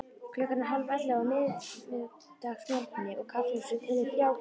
Klukkan er hálfellefu á miðvikudagsmorgni og kaffihúsið telur þrjá kúnna.